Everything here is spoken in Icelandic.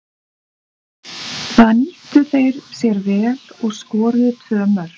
Það nýttu þeir sér vel og skoruðu tvö mörk.